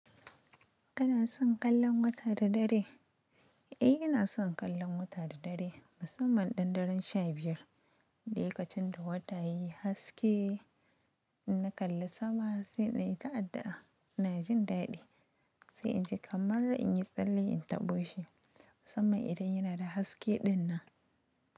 Kana son kallon wata da dare? Eh, ina son kallon wata da dare musamman dandaren sha biyar. Lokacin da wata yayi haske, ina kalla sama sai dai ta adda ina jin daɗi. Sai in ji kamar in yi tsalle in taɓo shi musamman idan yana da haske dinnan.